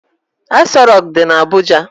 Aso Rock dị na Abuja.